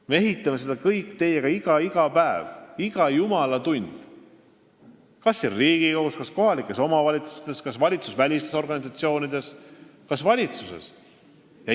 Me ehitame seda riiki kõik iga päev, iga jumala tund, kas siin Riigikogus, kohalikes omavalitsustes, valitsusvälistes organisatsioonides või valitsuses.